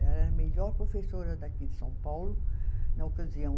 Ela era a melhor professora daqui de São Paulo na ocasião.